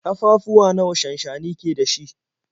Ƙafafuwa nawa shansshani ke da shi?